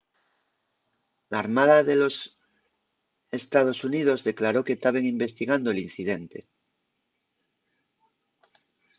l'armada de los ee.xx declaró que taben investigando l'incidente